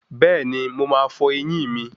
Bẹ́ẹ̀ni, mo máa fọ ẹyín mi